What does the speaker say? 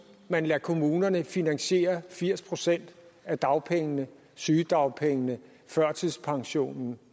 man lader kommunerne finansiere firs procent af dagpengene sygedagpengene førtidspensionen